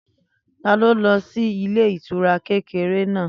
Taló lọ sí ilé ìtura kékeré náà?